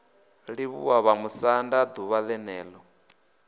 livhuwa vhamusanda d uvha ḽenelo